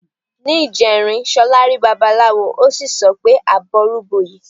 Ní ìjẹrin, Ṣọlá rí Babaláwo, ó sì sọ pé "àbọrú bọyè".